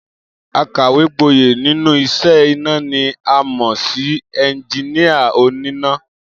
Akàwé-gboyè nínú is̩é̩ iná ni a mò̩ sí e̩njiníà oníná